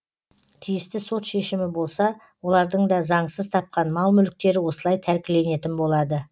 тиісті сот шешімі болса олардың да заңсыз тапқан мал мүліктері осылай тәркіленетін болады